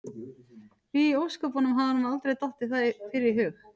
Því í ósköpunum hafði honum aldrei dottið það fyrr í hug?